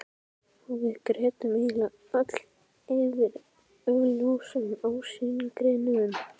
Og við grétum eiginlega öll yfir augljósum ósigrinum.